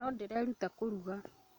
No ndĩreeruta kũruga